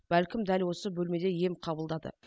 бәлкім дәл осы бөлмеде ем қабылдады